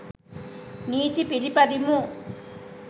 නීති පිළිපදිමු